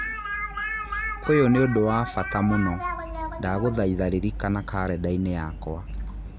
Ũyũ nĩ ũndũ wa bata mũno, ndagũthaitha ririkana karenda-inĩ yakwa.